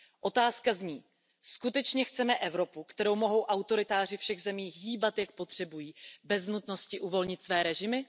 Otázka zní Skutečně chceme Evropu, kterou mohou autoritáři všech zemí hýbat, jak potřebují, bez nutnosti uvolnit své režimy?